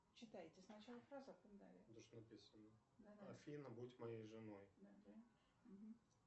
афина будь моей женой